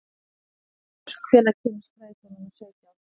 Þorgerður, hvenær kemur strætó númer sautján?